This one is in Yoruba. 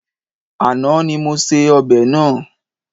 Àná ni mo se ọbẹ̀ náà.